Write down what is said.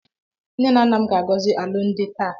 Nnenanna m ga-agozi alụmdi m taa.